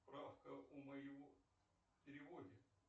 правка у моего тревоги